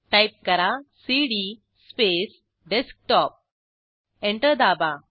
type करा cd space desktop enter दाबा